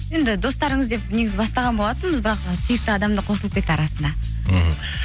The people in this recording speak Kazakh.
енді достарыңыз деп негізі бастаған болатынбыз бірақ сүйікті адам да қосылып кетті арасына мхм